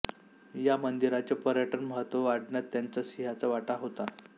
या मंदिराचे पर्यटन महत्व वाढण्यात त्यांचा सिंहाचा वाटा होता